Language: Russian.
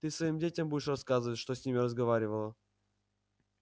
ты своим детям будешь рассказывать что с ними разговаривала